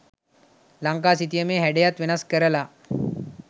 ලංකා සිතියමේ හැඩයත් වෙනස් කරලා